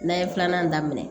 N'a ye filanan daminɛ